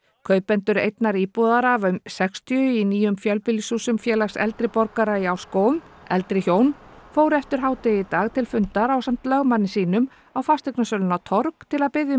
kaupendur einnar íbúðar af um sextíu í nýjum fjölbýlishúsum Félags eldri borgara í Árskógum eldri hjón fóru eftir hádegi í dag til fundar ásamt lögmanni sínum á fasteignasöluna torg til að biðja um